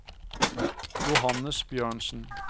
Johannes Bjørnsen